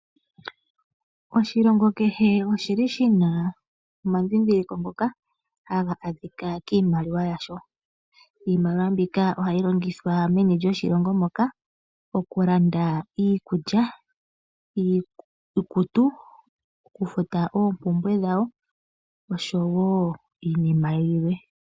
Oshilongo kehe oshili shina omadhindhiliko ngoka haga adhika kiimaliwa yasho. Iimaliwa mbika ohayi longithwa meni lyoshilongo moka . Okulanda iikulya, iikutu, okufuta oompumbwe dhawo nosho woo iinima yilwe.